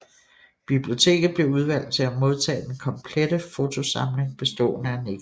Biblioteket blev udvalgt til at modtage den komplette fotosamling bestående af negativer